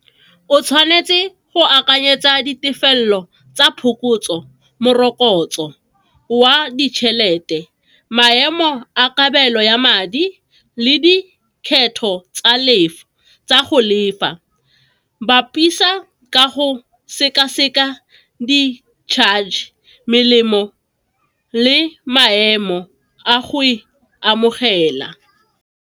O tshwanetse go akanyetsa ditefelelo tsa phokotso, morokotso wa ditšhelete, maemo a kabelo ya madi le dikgetho tsa tsa go lefa. Bapisa ka go sekaseka di charge, melemo le maemo a go e amogela.